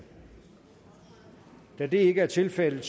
da det ikke er tilfældet